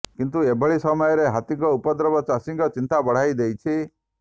କିନ୍ତୁ ଏଭଳି ସମୟରେ ହାତୀଙ୍କ ଉପଦ୍ରବ ଚାଷୀଙ୍କ ଚିନ୍ତା ବଢାଇ ଦେଇଛି